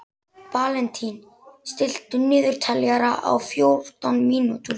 Valentín, stilltu niðurteljara á fjórtán mínútur.